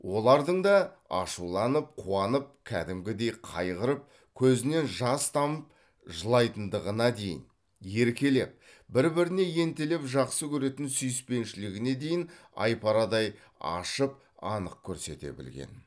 олардың да ашуланып қуанып кәдімгідей қайғырып көзінен жас тамып жылайтындығына дейін еркелеп бір біріне ентелеп жақсы көретін сүйіспеншілігіне дейін айпарадай ашып анық көрсете білген